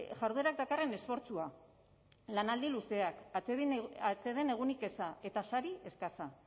jarduerak dakarren esfortzua lanaldi luzeak atseden egunik eza eta sari eskasa